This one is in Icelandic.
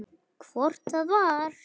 Hvort það var!